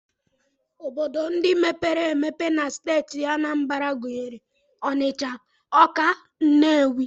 Obodo ndị mepere emepe na steeti Anambra gụnyere Ọnịcha, Ọka, Nnewi